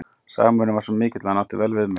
Samhugurinn var mikill og hann átti vel við mig.